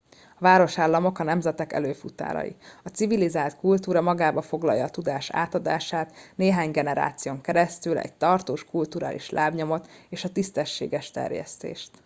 a városállamok a nemzetek előfutárai a civilizált kutúra magába foglalja a tudás átadását néhány generáción keresztül egy tartós kulturális lábnyomot és a tisztességes terjesztést